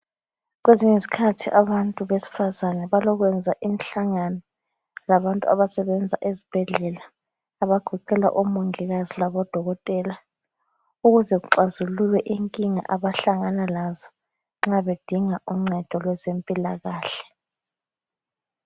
Kwezinye izikhathi abantu besifazana balokwenza imihlangano labantu abasebenza ezibhedlela abagoqela omongikazi labo dokotela, ukuze kuxazululwe inkinga abahlangana lazo nxa bedinga uncedo lwezempilakahle